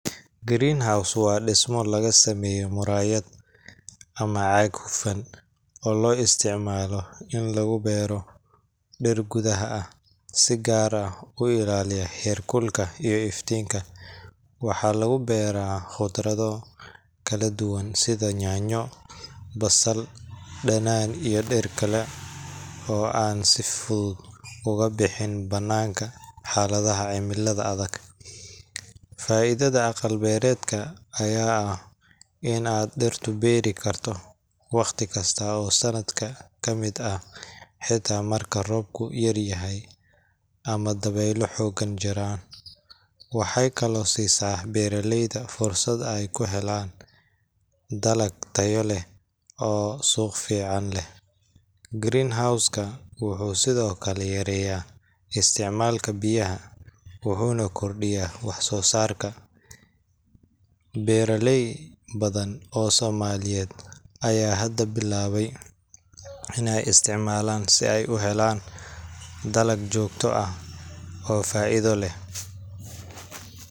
Greenhouse waa dhismo laga sameeyo muraayad ama caag hufan, oo loo isticmaalo in lagu beero dhir gudaha ah, si gaar ah u ilaalinaya heerkulka iyo iftiinka. Waxaa lagu beeraa khudrado kala duwan sida yaanyo, basal, dhanaan, iyo dhir kale oo aan si fudud uga baxin bannaanka xaaladaha cimilada adag. Faa'iidada aqal-beereedka ayaa ah in aad dhirta beeri karto wakhti kasta oo sanadka ka mid ah, xitaa marka roobku yaryahay ama dabaylo xooggan jiraan. Waxay kaloo siisaa beeraleyda fursad ay ku helaan dalag tayo leh oo suuq fiican leh. Greenhouse ka wuxuu sidoo kale yareeyaa isticmaalka biyaha, wuxuuna kordhiyaa wax-soosaarka. Beeraley badan oo Soomaaliyeed ayaa hadda bilaabay inay isticmaalaan si ay u helaan dalag joogto ah oo faa’iido leh